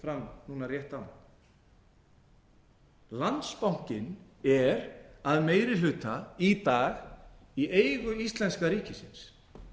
fram núna rétt áðan landsbankinn er að meiri hluta í dag í eigu íslenska ríkisins